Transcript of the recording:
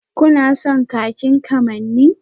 Kuna son kakin kamanni?